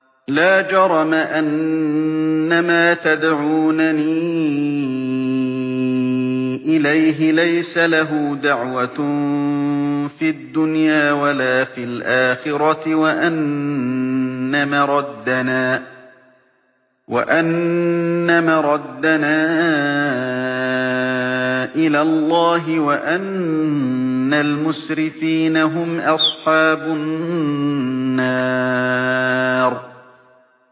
لَا جَرَمَ أَنَّمَا تَدْعُونَنِي إِلَيْهِ لَيْسَ لَهُ دَعْوَةٌ فِي الدُّنْيَا وَلَا فِي الْآخِرَةِ وَأَنَّ مَرَدَّنَا إِلَى اللَّهِ وَأَنَّ الْمُسْرِفِينَ هُمْ أَصْحَابُ النَّارِ